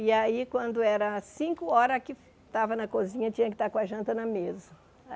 E aí quando era cinco horas que estava na cozinha, tinha que estar com a janta na mesa.